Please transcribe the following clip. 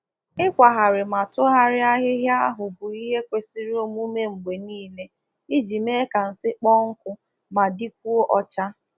O kwesịrị ka a na ekpochapụ nsị/unyi n'ụlọ ọkụkọ kwa mgbe iji mee ka ụlọ ọkụkọ dị akọrọ ma dịkwa ọcha